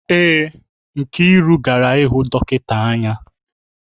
Èé, Nkiru gara ịhụ dọkịta anya